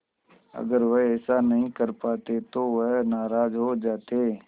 अगर वह ऐसा नहीं कर पाते तो वह नाराज़ हो जाते